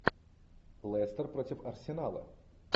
лестер против арсенала